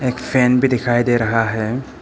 Fan भी दिखाई दे रहा है।